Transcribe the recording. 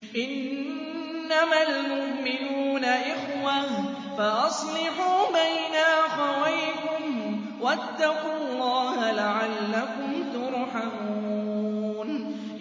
إِنَّمَا الْمُؤْمِنُونَ إِخْوَةٌ فَأَصْلِحُوا بَيْنَ أَخَوَيْكُمْ ۚ وَاتَّقُوا اللَّهَ لَعَلَّكُمْ تُرْحَمُونَ